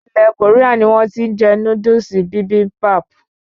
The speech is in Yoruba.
Ilè Koria ni wón ti n je Núdúsì Bibimbap